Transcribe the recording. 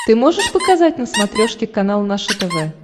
ты можешь показать на смотрешке канал наше тв